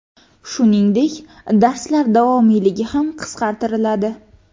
Shuningdek, darslar davomiyligi ham qisqartiriladi.